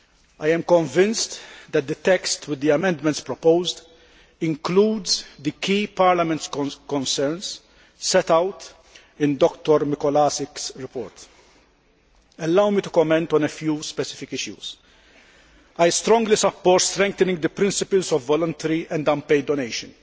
I am convinced that the text with the amendments proposed includes Parliament's key concerns as set out in Dr Mikolášik's report. Allow me to comment on a few specific issues. I strongly support strengthening the principles of voluntary and unpaid donation,